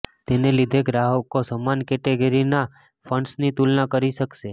તેને લીધે ગ્રાહકો સમાન કેટેગરીનાં ફંડ્સની તુલના કરી શકશે